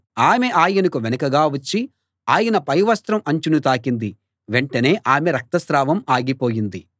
ఆమె ఆయనకి వెనకగా వచ్చి ఆయన పైవస్త్రం అంచును తాకింది వెంటనే ఆమె రక్తస్రావం ఆగిపోయింది